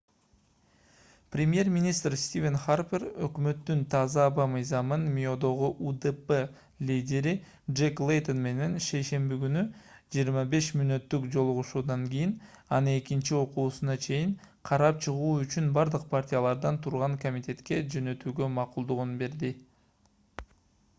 премьер-министр стивен харпер өкмөттүн таза аба мыйзамын миодогу удп лидери джек лейтон менен шейшемби күнү 25 мүнөттүк жолугушуудан кийин аны экинчи окуусуна чейин карап чыгуу үчүн бардык партиялардан турган комитетке жөнөтүүгө макулдугун берди